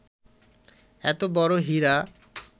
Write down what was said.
এত বড় হীরা